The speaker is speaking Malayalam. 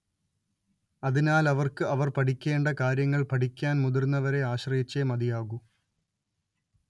അതിനാൽ അവർക്ക് അവർ പഠിക്കേണ്ട കാര്യങ്ങൾ പഠിക്കാൻ മുതിർന്നവരെ ആശ്രയിച്ചേ മതിയാകൂ